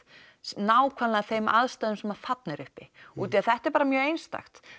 nákvæmlega þeim aðstæðum sem þarna eru uppi útaf því að þetta er bara mjög einstakt